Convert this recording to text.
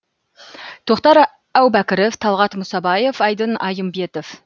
тоқтар әубәкіров талғат мұсабаев айдын айымбетов